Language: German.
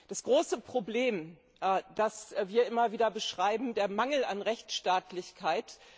Das große Problem, das wir immer wieder beschreiben, ist der Mangel an Rechtsstaatlichkeit.